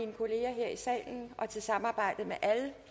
salen og til samarbejdet med alle